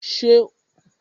Ṣo ma ra gúọ́và fún mi?